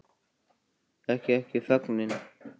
Þekkir ekki fögnin